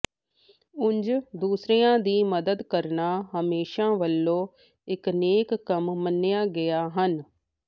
ਉਂਜ ਦੂਸਰੀਆਂ ਦੀ ਮਦਦ ਕਰਣਾ ਹਮੇਸ਼ਾ ਵਲੋਂ ਇੱਕ ਨੇਕ ਕੰਮ ਮੰਨਿਆ ਗਿਆ ਹਨ